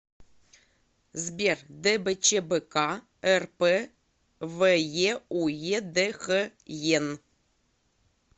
сбер дбчбк рпвеуедхен